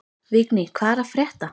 Vigný, hvað er að frétta?